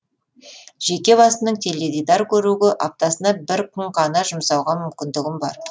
жеке басымның теледидар көруге аптасына бір күн ғана жұмсауға мүмкіндігім бар